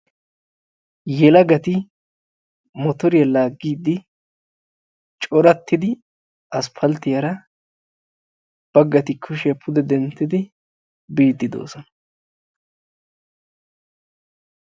Yelagati motoriyaa laaggidi corattidi aspalttiyaara baggati kushshiyaa pude denttidi biidi doosona.